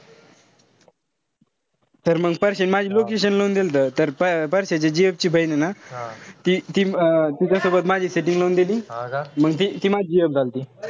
तर मंग परश्याने माझी लावून दिलत. प पारश्याची gf ची बहीण ए ना ती-ती तिच्यासोबत माझी setting लावून दिली. अन मंग ती माझी gf झालती.